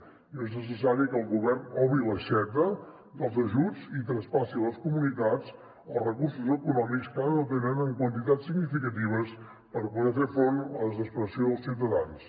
diu és necessari que el govern obri l’aixeta dels ajuts i traspassi a les comunitats els recursos econòmics que ara no tenen en quantitats significatives per poder fer front a la desesperació dels ciutadans